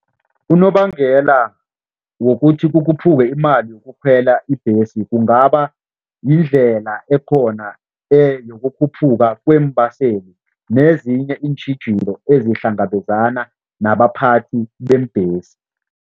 Unobangela wokuthi kukhuphuke imali yokukhwela ibhesi kungaba yindlela ekhona yokukhuphuka kweembaseli nezinye iintjhijilo ezihlangabezana nabaphathi beembhesi.